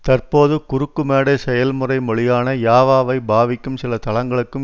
தற்போது குறுக்குமேடை செயல்முறை மொழியான யாவாவை பாவிக்கும் சில தளங்களுக்கும்